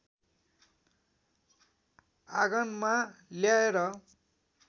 आगनमा ल्याएर